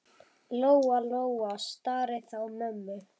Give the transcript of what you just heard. Lóa-Lóa starði á mömmu.